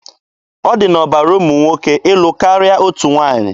Ọ dị n'ọbara ụmụ nwoke ịlụ karịa otu nwaanyị.